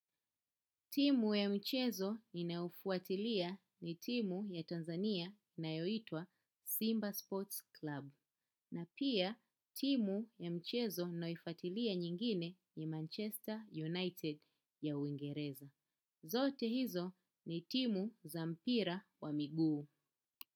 Timu ya michezo ninayo fuatilia ni timu ya Tanzania inayoitwa Simba Sports Club. Na pia timu ya mchezo nayoifatilia nyingine ni Manchester United ya uingereza. Zote hizo ni timu za mpira wa miguu.